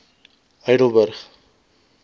heidelburg